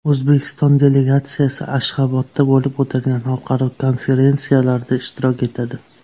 O‘zbekiston delegatsiyasi Ashxabodda bo‘lib o‘tadigan xalqaro konferensiyalarda ishtirok etadi.